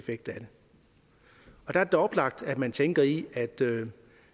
er det da oplagt at man tænker i